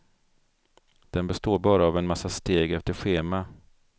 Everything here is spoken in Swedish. Den består bara av en massa steg efter schema.